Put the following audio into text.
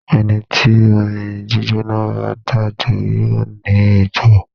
Ẹni tí omi gbígbóná bá dà jó yóò ní egbò.